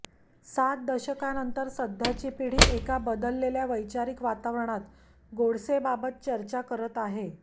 सात दशकानंतर सध्याची पिढी एका बदललेल्या वैचारिक वातावरणात गोडसेबाबत चर्चा करत आहे